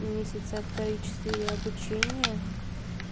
месяца три четыре обучения